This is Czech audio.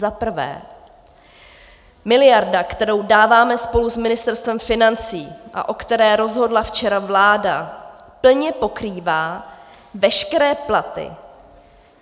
Za prvé, miliarda, kterou dáváme spolu s Ministerstvem financí a o které rozhodla včera vláda, plně pokrývá veškeré platy.